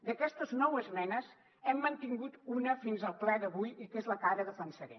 d’aquestes nou esmenes n’hem mantingut una fins al ple d’avui que és la que ara de defensaré